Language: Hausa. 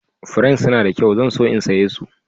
Furen suna da kyau. zan so in saya su.